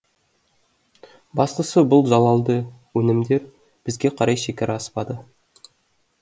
бастысы бұл залалды өнімдер бізге қарай шекара аспады